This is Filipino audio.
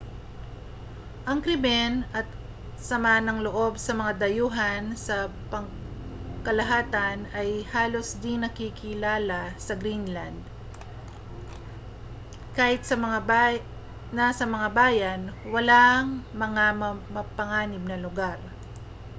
ang krimen at sama ng loob sa mga dayuhan sa pangkalahatan ay halos di-nakikilala sa greenland kahit na sa mga bayan walang mga mapanganib na lugar